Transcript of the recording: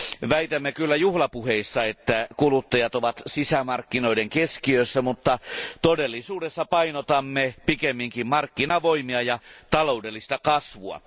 Väitämme kyllä juhlapuheissamme, että kuluttajat ovat sisämarkkinoiden keskiössä, mutta todellisuudessa painotamme pikemminkin markkinavoimia ja taloudellista kasvua.